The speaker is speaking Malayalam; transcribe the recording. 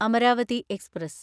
അമരാവതി എക്സ്പ്രസ്